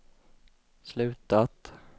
slutat